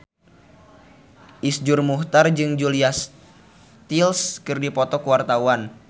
Iszur Muchtar jeung Julia Stiles keur dipoto ku wartawan